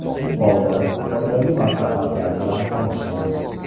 U holda, foydali maslahatlar bilan tanishamiz.